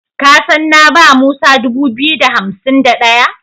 Ka san na ba Musa dubu biyu da hansim da ɗaya?